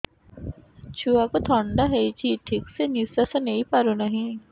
ଛୁଆକୁ ଥଣ୍ଡା ହେଇଛି ଠିକ ସେ ନିଶ୍ୱାସ ନେଇ ପାରୁ ନାହିଁ